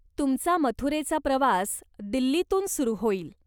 तुमचा मथुरेचा प्रवास दिल्लीतून सुरू होईल.